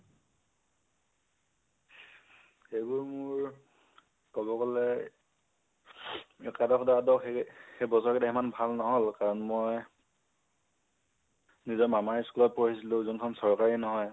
সেইবোৰ মোৰ ক'ব গলে, একাদশ, দ্বাদশ সেই বছৰকেইতা ইমান ভাল নহল , কাৰণ মই, নিজৰ মামাৰ school ত পঢ়িছিলো, যোনখন চৰকাৰী নহয়